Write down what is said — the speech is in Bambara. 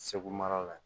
Segu mara la